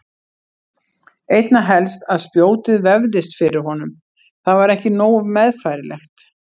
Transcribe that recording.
Einna helst að spjótið vefðist fyrir honum, það var ekki nógu meðfærilegt.